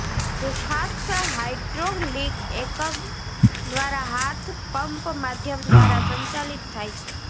તે ખાસ હાઇડ્રોલિક એકમ દ્વારા હાથ પંપ માધ્યમ દ્વારા સંચાલિત થાય છે